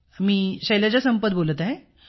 मी शैलजा संपत बोलते आहे